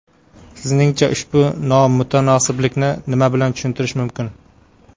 Sizningcha ushbu nomutanosiblikni nima bilan tushuntirish mumkin?